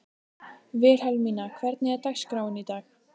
Vilhelmína, hvernig er dagskráin í dag?